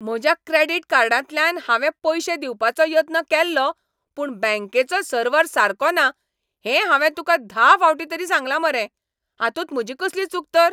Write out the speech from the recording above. म्हज्या क्रॅडिट कार्डांतल्यान हांवें पयशें दिवपाचो यत्न केल्लो पूण बँकेचो सर्वर सारको ना हें हांवें तुका धा फावटीं तरी सांगलां मरे. हातूंत म्हजी कसली चूक तर?